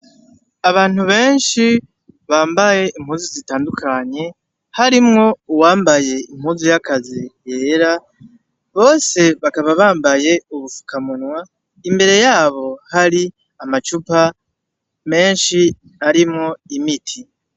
Abantu benshi bambaye impuzu zitandukanye harimwo uwambaye impuzu y'akazi yera, bose bakaba bambaye ubufukamunwa, imbere yabo hari amacupa menshi arimwo imiti.